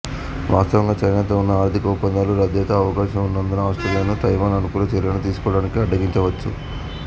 వాస్థవంగా చైనాతో ఉన్న ఆర్థిక ఒప్పందాలు రద్దయ్యే అవకాశం ఉన్నందున ఆస్ట్రేలియాను తైవాన్ అనుకూల చర్యలను తీసుకోవడానికి అడ్డగించవచ్చు